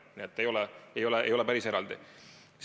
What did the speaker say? Nii et see ei käi päris eraldi.